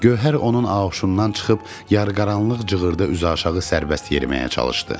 Gövhər onun auşundan çıxıb yarıqaranlıq cığırdan üzüaşağı sərbəst yeriməyə çalışdı.